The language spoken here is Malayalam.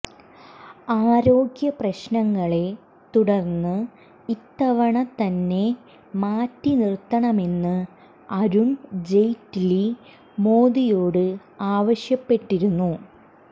ആരോഗ്യ പ്രശ്നങ്ങളെ തുടർന്ന് ഇത്തവണ തന്നെ മാറ്റിനിർത്തണമെന്ന് അരുൺ ജെയ്റ്റ്ലി മോദിയോട് ആവശ്യപ്പെട്ടിരുന്നു